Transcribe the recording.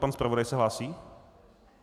Pan zpravodaj se hlásí?